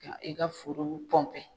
Ka i ka foro nun